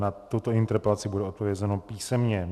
Na tuto interpelaci bude odpovězeno písemně.